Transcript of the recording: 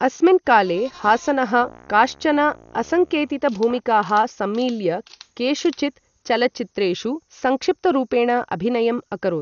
अस्मिन् काले, हासनः काश्चन असङ्केतितभूमिकाः सम्मील्य, केषुचित् चलच्चित्रेषु संक्षिप्तरूपेण अभिनयम् अकरोत्।